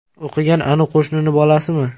O‘qigan anu qo‘shnini bolasimi?!